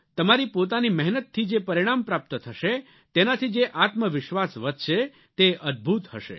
તમારી પોતાની મહેનતથી જે પરિણામ પ્રાપ્ત થશે તેનાથી જે આત્મવિશ્વાસ વધશે તે અદ્દભૂત હશે